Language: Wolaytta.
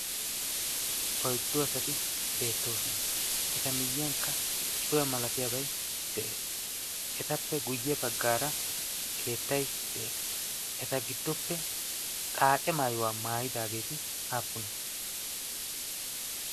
Oyddu asati beettoosona. Eta miyyiyankka cuwa malatiyabayi de"es. Etappe guyye baggaara keettayi de"es. Eta giddoppe xaace maayuwa maayidaageeti aappune?